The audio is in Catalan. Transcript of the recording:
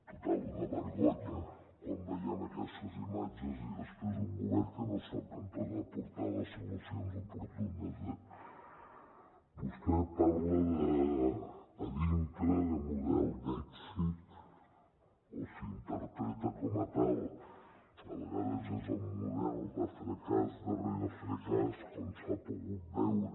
total una vergonya quan veiem aquestes imatges i després un govern que no sap com pot aportar les solucions oportunes eh vostè parla a dintre de model d’èxit o s’interpreta com a tal a vegades és el model de fracàs darrere fracàs com s’ha pogut veure